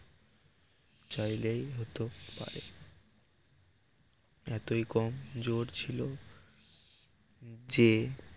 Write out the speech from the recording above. চাইলেই হতে পারে এতই কম জোর ছিল যে